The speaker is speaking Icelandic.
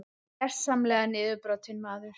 Gersamlega niðurbrotinn maður.